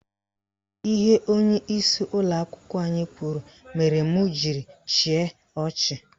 Ihe onyeisi ụlọakwụkwọ kwuru mere m jiri chịa ọchị.